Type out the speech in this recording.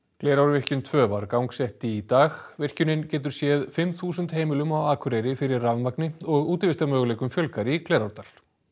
Glerárvirkjun tvö var gangsett í dag virkjunin getur séð fimm þúsund heimilum á Akureyri fyrir rafmagni og fjölgar í Glerárdal